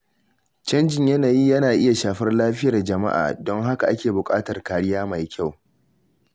Canjin yanayi na iya shafar lafiyar jama’a, don haka ake bukatar kariya mai kyau.